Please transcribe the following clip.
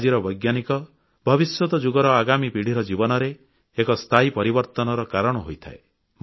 ଆଜିର ବୈଜ୍ଞାନିକ ଭବିଷ୍ୟତ ଯୁଗର ଆଗାମୀ ପିଢ଼ିର ଜୀବନରେ ଏକ ସ୍ଥାୟୀ ପରିବର୍ତ୍ତନର କାରଣ ହୋଇଥାଏ